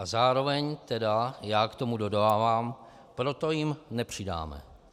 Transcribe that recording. A zároveň tedy já k tomu dodávám: proto jim nepřidáme.